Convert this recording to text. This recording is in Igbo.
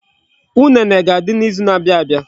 Unene ga-adị n'izu na-abia abia.